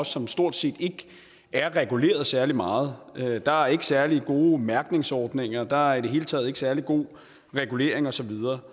som stort set ikke er reguleret særlig meget der er ikke særlig gode mærkningsordninger og der er i det hele taget ikke særlig god regulering og så videre